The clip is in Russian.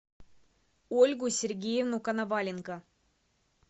ольгу сергеевну коноваленко